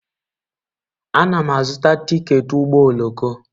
Ana m azụta tiketi ụgbọ oloko.